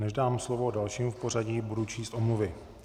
Než dám slovo dalšímu v pořadí, budu číst omluvy.